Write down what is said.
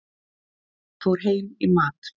Fór heim í mat.